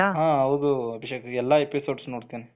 ಹ ಹೌದು ಅಭಿಷೇಕ್ ಎಲ್ಲ episodes ನೋಡ್ತೀನಿ